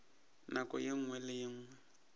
nako ye nngwe le ye